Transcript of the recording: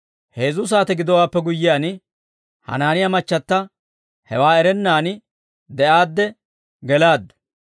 Heezzu saate gidowaappe guyyiyaan, Hanaaniyaa machchata hewaa erennaan de'aadde gelaaddu.